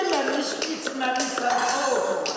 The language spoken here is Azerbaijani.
Yeməmiş içməmiş nə olsun?